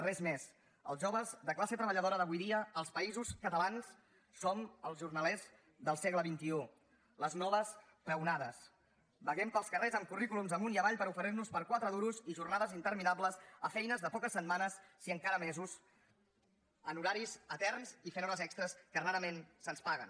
res més els joves de classe treballadora d’avui dia als països catalans som els jornalers del segle xxi les noves peonades vaguem pels carrers amb currículums amunt i avall per oferir nos per quatre duros i jornades interminables a feines de poques setmanes si encara mesos amb horaris eterns i fent hores extres que rarament se’ns paguen